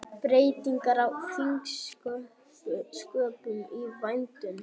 Breytingar á þingsköpum í vændum